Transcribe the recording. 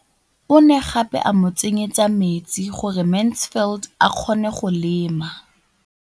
O ne gape a mo tsenyetsa metsi gore Mansfield a kgone go lema.